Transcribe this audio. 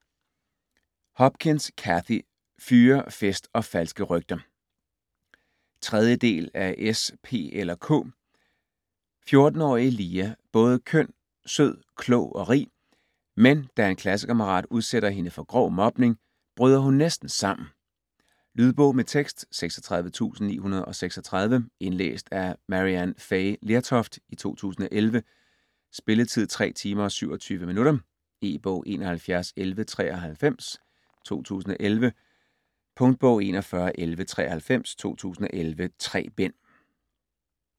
Hopkins, Cathy: Fyre, fest & falske rygter 3. del af S, P eller K. 14-årige Lia både køn, sød, klog og rig, men da en klassekammerat udsætter hende for grov mobning, bryder hun næsten sammen. Lydbog med tekst 36936 Indlæst af Maryann Fay Lertoft, 2011. Spilletid: 3 timer, 27 minutter. E-bog 711193 2011. Punktbog 411193 2011. 3 bind.